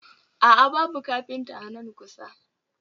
A'a, babu kafinta a nan kusa